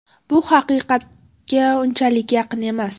Bu haqiqatga unchalik yaqin emas.